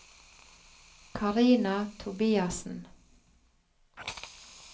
Karina Tobiassen